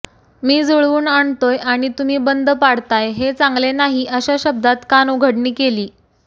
मी जुळवून आणतोय आणि तुम्ही बंद पाडताय हे चांगले नाही अशा शब्दात कानउघडणी केली